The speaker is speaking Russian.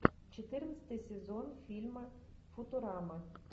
четырнадцатый сезон фильма футурама